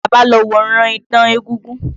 Àlàbá lo wòran idán egúngún.